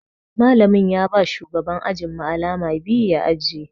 Malamin ya ba shugaban ajin mu alama biyu ya ajiye.